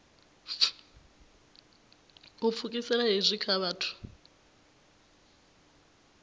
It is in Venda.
u pfukisela hezwi kha vhathu